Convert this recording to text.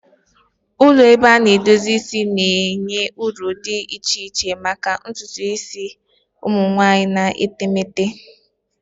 Ụlọ ebe a na-edozi isi na-enye ọrụ dị iche iche maka ntutu isi ụmụ nwanyị na etemeete.